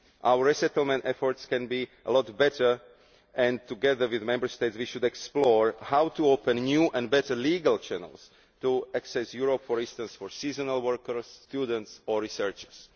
Our resettlement efforts can be a lot better and, together with Member States, we should explore how to open new or better legal channels to access Europe, for instance for seasonal workers, students or researchers.